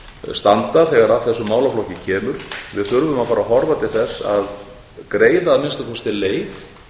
standa þegar að þessum málaflokki kemur við þurfum að fara að horfa til þess að að greiða að minnsta kosti leið